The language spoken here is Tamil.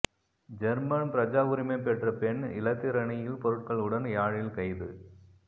ஜேர்மன் பிரஜாவுரிமை பெற்ற பெண் இலத்திரனியல் பொருட்களுடன் யாழில் கைது